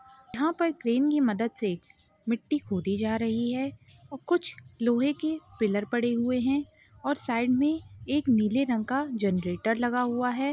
यहाँ पर क्रेन की मदत से मिट्टी खोदी जा रही है और कुछ लोहे की पिलर पड़े हुए है और साइड मे एक नीले रंग का जनरेटर लगा हुआ है।